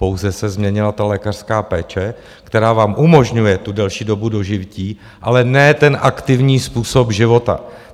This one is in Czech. Pouze se změnila ta lékařská péče, která vám umožňuje tu delší dobu dožití, ale ne ten aktivní způsob života.